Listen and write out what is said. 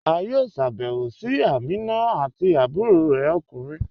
A yọ̀ọ́ sábẹwò sí Àmínà àti àbúrọ̀ rẹ̀ okùnrin